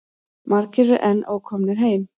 Margir eru enn ókomnir heim.